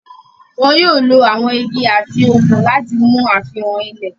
Wọ́n yóò lo àwon igi àti òkun láti mú àfihàn ilẹ̀.